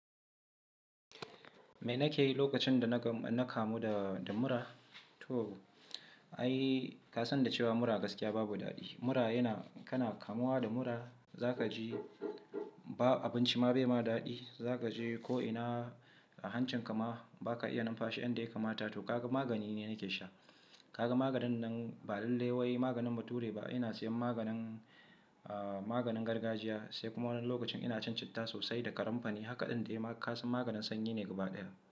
Me nake yi lokacin da na kamu da mura? To ai, ka san da cewa mura gaskiya babu daɗi. Mura yana-- kana kamuwa da mura, za ka ji abinci ma bai ma daɗi. Za ka je ko'ina, a hancin ka ma ba ka iya numfashi yanda ya kamata. To kaga magani ni nake sha. Kaga maganin nan ba lallai wai maganin bature ba. Ina siyan maganin, maganin gargajiya sai kuma wani lokacin ina cin citta sosai da kanimfari Haka ɗin dai ka san maganin sanyi ne gaba ɗaya.